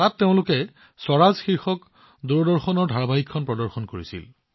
তাত তেওঁলোকে স্বৰাজ দূৰদৰ্শন ধাৰাবাহিকৰ প্ৰদৰ্শন কৰিছিল